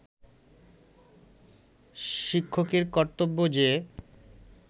শিক্ষকের কর্তব্য যে